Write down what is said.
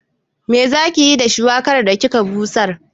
Me zaki yi da shuwakar da kika busar?